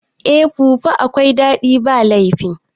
Eh fufu akwai daɗi ba laifi